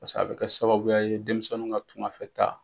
Paseke a bɛ kɛ sababuya ye denmisɛninw ka tungafɛ taa